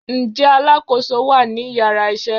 nje alákoso wa ni iyara isé?